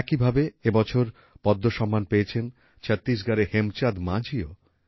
একইভাবে এইবছর পদ্মসম্মান পেয়েছেন ছত্তিশগড়ের হেমচাঁদ মাঝিও